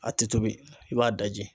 A tɛ tobi i b'a daji.